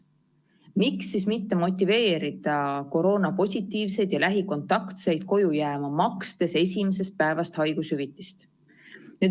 Miks siis mitte motiveerida koroonapositiivseid ja lähikontaktseid koju jääma, makstes esimesest päevast haigushüvitist?